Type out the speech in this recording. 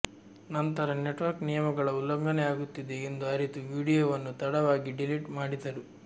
ನಂತರ ನೆಟ್ವರ್ಕ್ ನಿಯಮಗಳ ಉಲ್ಲಂಘನೆಯಾಗುತ್ತಿದೆ ಎಂದು ಅರಿತು ವೀಡಿಯೋವನ್ನು ತಡವಾಗಿ ಡೆಲಿಟ್ ಮಾಡಿದ್ದರು